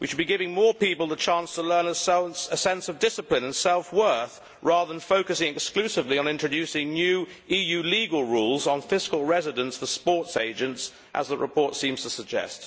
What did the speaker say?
We should be giving more people the chance to learn a sense of discipline and self worth rather than focusing exclusively on introducing new EU legal rules on fiscal residence for sports agents, as the report seems to suggest.